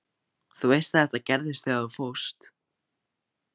Þú veist að þetta gerðist þegar þú fórst.